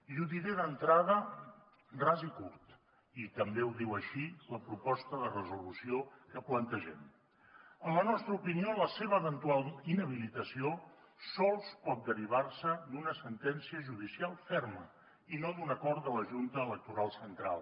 i ho diré d’entrada ras i curt i també ho diu així la proposta de resolució que plantegem en la nostra opinió la seva eventual inhabilitació sols pot derivar se d’una sentència judicial ferma i no d’un acord de la junta electoral central